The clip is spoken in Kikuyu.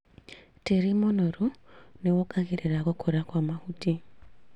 Tĩri mũnoru nĩwongagĩrĩra gũkũra kwa mahuti